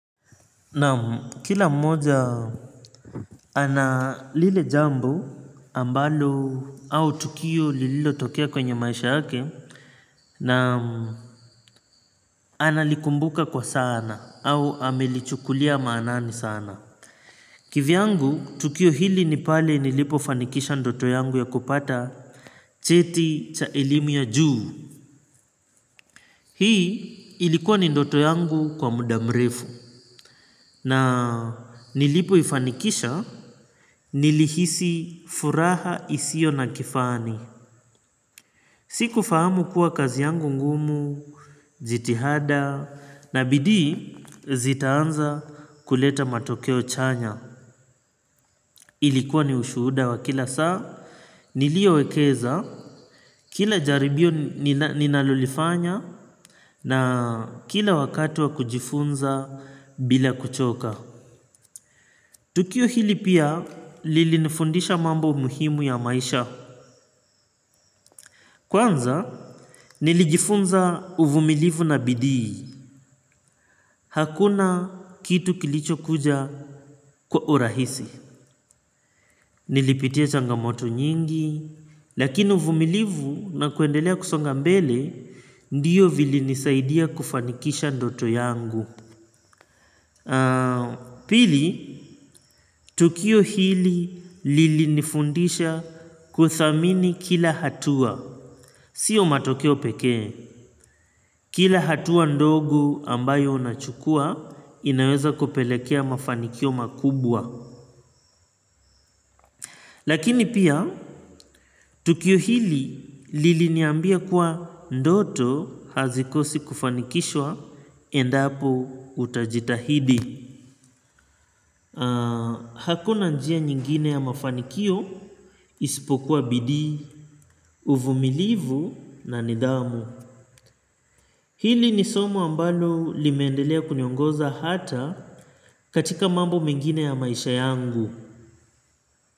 Naam kila mmoja ana lile jambo ambalo au tukio lililotokea kwenye maisha yake na analikumbuka kwa sana au amelichukulia maanani sana. Kivyangu tukio hili ni pale nilipofanikisha ndoto yangu ya kupata cheti cha elimu ya juu. Hii ilikuwa ni ndoto yangu kwa muda mrefu na nilipoifanikisha nilihisi furaha isiyo na kifani. Sikufahamu kuwa kazi yangu ngumu, jitihada na bidii zitaanza kuleta matokeo chanya. Ilikuwa ni ushuda wa kila saa niliowekeza kila jaribio ninalolifanya na kila wakati wa kujifunza bila kuchoka. Tukio hili pia lilinifundisha mambo muhimu ya maisha. Kwanza nilijifunza uvumilivu na bidii. Hakuna kitu kilichokuja kwa urahisi. Nilipitia changamoto nyingi. Lakini uvumilivu na kuendelea kusonga mbele ndiyo vilinisaidia kufanikisha ndoto yangu. Pili, tukio hili lilinifundisha kuthamini kila hatua. Sio matokeo pekee, kila hatua ndogo ambayo unachukua inaweza kupelekea mafanikio makubwa. Lakini pia, tukio hili liliniambia kuwa ndoto hazikosi kufanikishwa endapo utajitahidi. Hakuna njia nyingine ya mafanikio isipokuwa bidii, uvumilivu na nidhamu. Hili ni somo ambalo limeendelea kuniongoza hata katika mambo mengine ya maisha yangu.